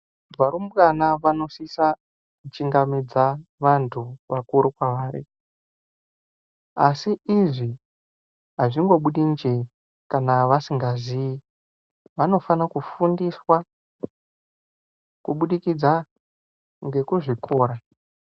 Varumbwana vanosisa kuchingamidza vantu vakuru kwavari. Asi izvi azvingobudi njee kana vasingazii. Vanofanira kufundiswa kubudikidza ngekuzvikora.